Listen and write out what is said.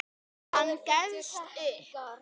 Hann gefst upp.